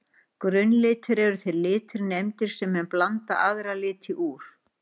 Grunnlitir eru þeir litir nefndir sem menn blanda aðra liti úr.